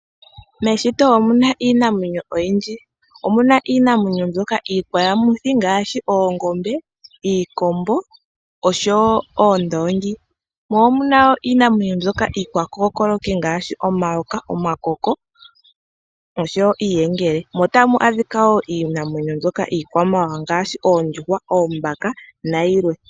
Meshito omuna iinamwenyo oyindji. Omuna iinamwenyo mbyoka iikwayamuthi ngaahi oongombe, iikombo noondongi mo omuna iinamwenyo mbyoka iikwakokoloki ngaashi omayoka, omakoko niiyengele mo otamu adhika niinamwenyo mbyoka iikwamawawa ngaashi oondjuhwa, oombaka nayilwe.